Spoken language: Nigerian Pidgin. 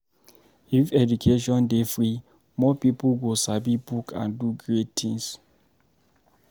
If education dey free, more pipo go sabi book and do great things.